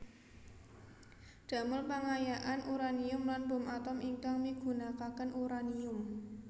Damel pengayaan uranium lan bom atom ingkang migunakaken uranium